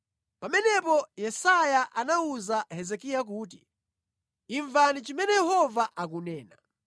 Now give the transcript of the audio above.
Pamenepo Yesaya anawuza Hezekiya kuti, “Imvani zimene Yehova akunena: